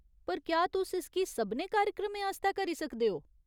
पर क्या तुस इसगी सभनें कार्यक्रमें आस्तै करी सकदे ओ ?